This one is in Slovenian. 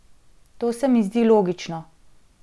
To se mi zdi logično.